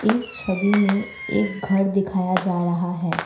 इस छवि में एक घर दिखाया जा रहा है।